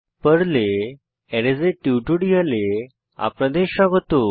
পর্লে arrays arrays এর টিউটোরিয়ালে আপনাদের স্বাগত